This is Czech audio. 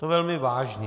To velmi vážně.